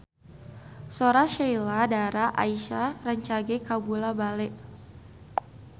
Sora Sheila Dara Aisha rancage kabula-bale